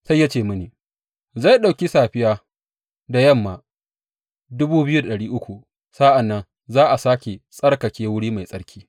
Sai ya ce mini, Zai ɗauki safiya da yamma sa’an nan za a sāke tsarkake wuri mai tsarki.